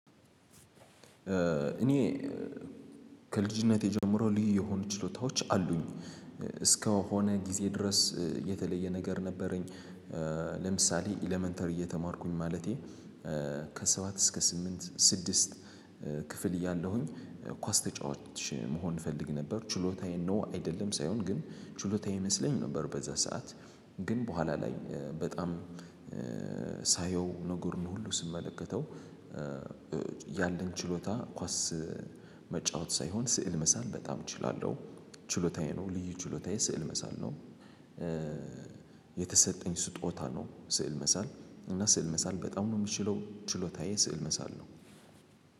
እኔ ከልጅነቴ ጀምሮ ልዩ የሆኑ ችሎታዎች አሉኝ። እስከሆነ ጊዜ ድረስ እ የተለየ ነገር ነበረኝ። እ ለምሳሌ ኤለመንተሪ እየተማርኩኝ ማለቴ እ ከሰባት እስከ ስምንት ስድስት እ ክፍል እያለሁኝ እ ኳስ ተጫዋች መሆን እፈልግ ነበር። ችሎታዬ ነው አይደለም የሚለው ሳይሆን ግን ችሎታዬ ይመስለኝ ነበር። የዚያን ሰዓት ግን በኋላ ላይ እ በጣም እ ሳየው ነገሩን ሁሉ ስመለከተው። ያለኝ ችሎታ ኳስ መጫወት ሳይሆን ስዕል መሳል በጣም እችላለሁ። ችሎታዬ ነው ልዩ ችሎታዬ ስዕል መሳል ነው። እ የተሰጠኝ ስጦታ ነው። ስዕል መሳል እና ስዕል መሳል በጣም ነው የምችለው። ችሎታዬ ስዕል መሳል ነው።